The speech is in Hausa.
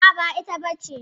A'a, ba ita bace.